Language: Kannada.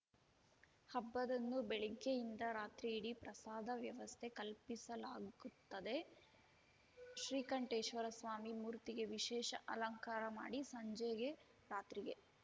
ಹಬ್ಬದಂದು ಬೆಳಿಗ್ಗೆಯಿಂದ ರಾತ್ರಿಯಿಡಿ ಪ್ರಸಾದ ವ್ಯವಸ್ಥೆ ಕಲ್ಪಿಸಲಾಗುತ್ತದೆ ಶ್ರೀಕಂಠೇಶ್ವರ ಸ್ವಾಮಿ ಮೂರ್ತಿಗೆ ವಿಶೇಷ ಅಲಂಕಾರ ಮಾಡಿ ಸಂಜೆಗೆ ರಾತ್ರಿಗೆ